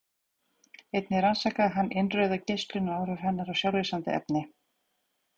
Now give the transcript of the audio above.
Einnig rannsakaði hann innrauða geislun og áhrif hennar á sjálflýsandi efni.